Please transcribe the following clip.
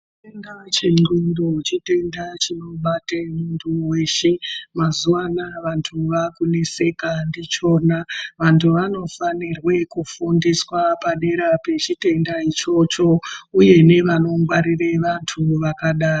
Chitenda chendxondo, chitenda chinobate muntu weshe. Mazuvanaya vantu vakuneseka ngechona. Vantu vanofanirwe kufundiswa padera pechitenda ichocho uye nevanongwarire vantu vakadaro.